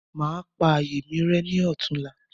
Màá pa ààyè mi rẹ́ ní ọ̀túnla.